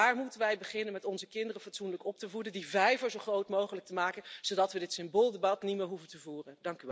Daar moeten wij beginnen met onze kinderen fatsoenlijk op te voeden, die vijver zo groot mogelijk te maken, zodat we dit symbooldebat niet meer hoeven te voeren.